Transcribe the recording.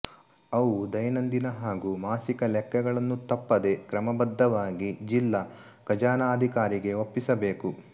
ಅವು ದೈನಂದಿನ ಹಾಗೂ ಮಾಸಿಕ ಲೆಕ್ಕಗಳನ್ನು ತಪ್ಪದೆ ಕ್ರಮಬದ್ಧವಾಗಿ ಜಿಲ್ಲಾ ಖಜಾನಾಧಿಕಾರಿಗೆ ಒಪ್ಪಿಸಬೇಕು